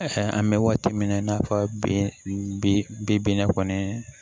an bɛ waati min na i n'a fɔ bi binna kɔni